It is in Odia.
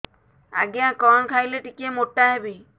ଆଜ୍ଞା କଣ୍ ଖାଇଲେ ଟିକିଏ ମୋଟା ହେବି